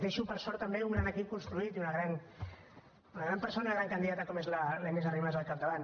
deixo per sort també un gran equip construït i una gran persona una gran candidata com és la inés arrimadas al capdavant